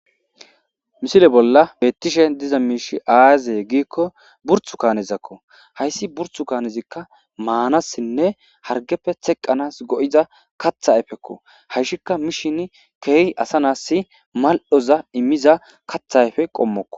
misile bolla beettishe diza miishi aazee giikko burthu kaanezakko hayssi burthu kaanezikka maanassinne hargeppe teqqanas go'iza kathayfekko hayshikka mishin keehi asa naassi mal'oza immiza katha ayfe qommokko